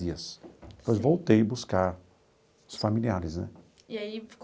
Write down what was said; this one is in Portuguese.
dias depois voltei buscar os familiares né. E aí